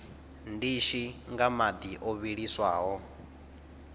ndishi nga madi o vhiliswaho